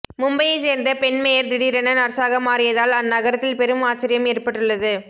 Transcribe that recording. மும்பையை சேர்ந்த பெண் மேயர் திடீரென நர்ஸாக மாறியதால் அந்நகரத்தில் பெரும் ஆச்சரியம் ஏற்பட்டுள்ளது